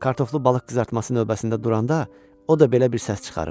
Kartoflu balıq qızartması növbəsində duranda o da belə bir səs çıxarıb.